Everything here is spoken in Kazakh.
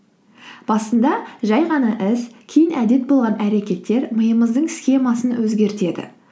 басында жай ғана іс кейін әдет болған әрекеттер миымыздың схемасын өзгертеді